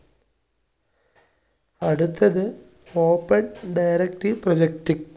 അടുത്തത് open directive projectic